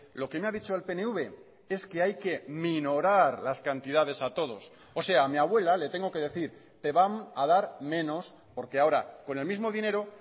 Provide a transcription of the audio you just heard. lo que me ha dicho el pnv es que hay que minorar las cantidades a todos ósea a mi abuela le tengo que decir te van a dar menos porque ahora con el mismo dinero